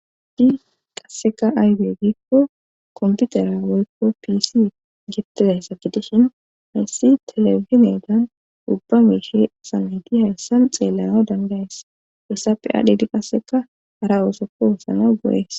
Haysi qasseka ayde giikko komputera woykko pisi gettidayssa gitishin hayssi telefinedan ubba miishe sameti hayssan xeellano dangayes essa pe adhiidi qasseka hara oosoka oothanawu go7ees